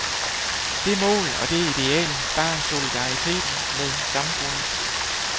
Det mål og det ideal bar solidariteten med samfundet.